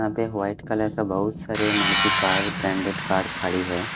यहाँ पे एक वाइट कलर का बहोत सारे मारुति कार् ब्रांडेड कार् खाड़ी है।